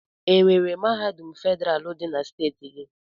Enwere mahadum federalụ dị na steeti gị?